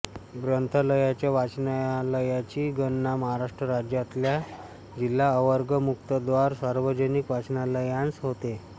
ग्रंथालयाच्या वाचनालयाची गणना महाराष्ट्र राज्यातल्या जिल्हा अवर्ग मुक्तद्वार सार्वजनिक वाचनालयांत होते